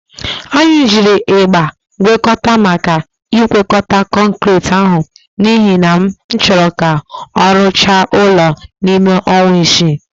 Anyị jiri ịgba ngwekọta maka ịgwekọta kọnkirit ahụ n'ihi na m chọrọ ka a rụchaa ọrụ n'ime ọnwa isii.